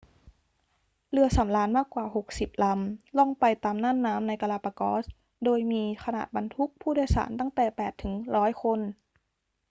เรือสำราญมากกว่า 60 ลำล่องไปตามน่านน้ำในกาลาปากอส โดยมีขนาดบรรทุกผู้โดยสารตั้งแต่ 8 ถึง 100 คน